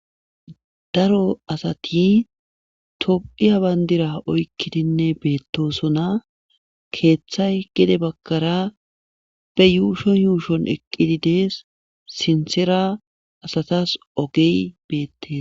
daro asati top7hiya bandira oykkidinne beettosona keeththay gede bakara be yuushon yuushon eqqidi dees sinsera asatas ogey beettees